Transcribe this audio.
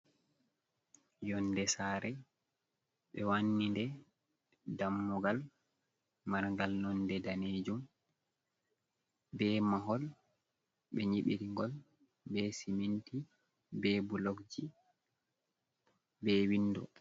Yonde Sare, Ɓe Wannide Dammugal Marngal Nonde Danejum, Be Mahol, Ɓe Nyibiri Ngol Be Siminti, Be Blockji Be Windo.